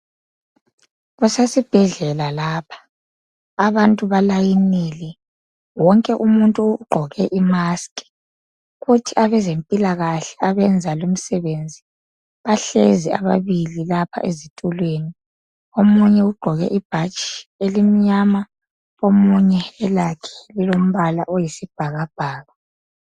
Kusesibhedlela lapha abantu balayinile wonke umuntu ugqoke imask kuthi abezempilakahle abenza lumsebenzi bahlezi ababili lapha ezitulweni omunye ugqoke ibhatshi elimnyama omunye elakhe lilombala oyisibhakabhaka.